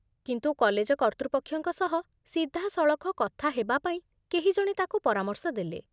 କିନ୍ତୁ କଲେଜ କର୍ତ୍ତୃପକ୍ଷଙ୍କ ସହ ସିଧାସଳଖ କଥା ହେବାପାଇଁ କେହିଜଣେ ତାକୁ ପରାମର୍ଶ ଦେଲେ